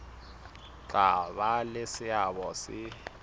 tla ba le seabo se